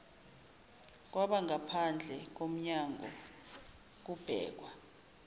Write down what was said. kwabangaphandle komnyanngo kubhekwa